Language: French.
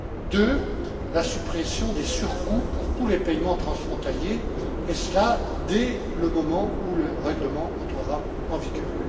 En second lieu, la suppression des surcoûts pour tous les paiements transfrontaliers, et cela dès le moment où le règlement entrera en vigueur.